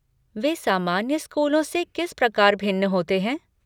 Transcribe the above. वे सामान्य स्कूलों से किस प्रकार भिन्न होते हैं?